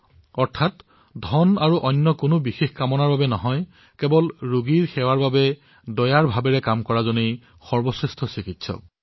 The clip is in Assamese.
অৰ্থাৎ ধন আৰু কোনো বিশেষ কামনাক লৈ নহয় বৰঞ্চ ৰোগীসকলৰ সেৱাৰ বাবে দয়াৰ ভাবেৰে যি কাৰ্য কৰে তেওঁৱেই সৰ্বশ্ৰেষ্ঠ চিকিৎসক হয়